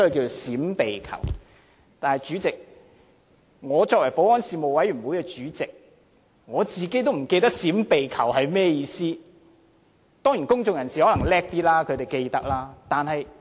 但是，主席，我作為保安事務委員會的主席，我自己也會忘記"閃避求"是甚麼意思，當然公眾人士可能較厲害，會記得當中的意思。